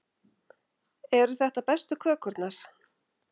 Eru þetta bestu kökurnar?